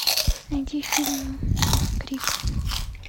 найди фильм крик